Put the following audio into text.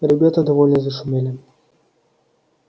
ребята довольно зашумели